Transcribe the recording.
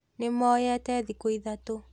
Nĩ mũyete thĩku ithatũ